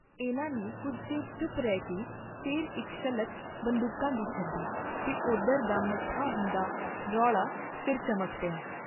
ਇਨ੍ਹਾਂ ਨੇ ਕੁੱਝ ਚਿਰ ਚੁਪ ਰਹਿ ਕੇ ਫਿਰ ਇਕ ਸ਼ਲਕ ਬੰਦੂਕਾਂ ਦੀ ਛੱਡੀ ਤੇ ਉਧਰ ਦਾ ਮੱਠਾ ਹੁੰਦਾ ਰੌਲਾ ਫਿਰ ਚਮਕ ਪਿਆ।